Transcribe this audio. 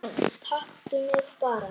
Taktu mig bara